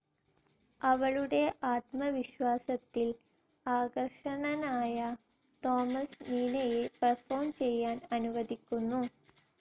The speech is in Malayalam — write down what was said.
അവളുടെ ആത്മവിശ്വാസത്തിൽ ആകർഷണനായ തോമസ് നീനയെ പെർഫോം ചെയ്യാൻ അനുവദിക്കുന്നു.